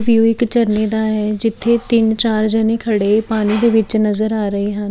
View ਇੱਕ ਝਰਨੇ ਦਾ ਹੈ ਜਿੱਥੇ ਤਿੰਨ ਚਾਰ ਜਨੇ ਖੜੇ ਪਾਣੀ ਦੇ ਵਿੱਚ ਨਜ਼ਰ ਆ ਰਹੇ ਹਨ।